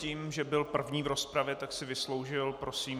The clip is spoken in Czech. Tím, že byl první v rozpravě, tak si vysloužil... Prosím.